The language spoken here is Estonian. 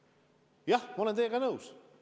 Jah, ma olen teiega nõus.